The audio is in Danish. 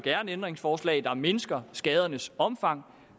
ændringsforslag der mindsker skadernes omfang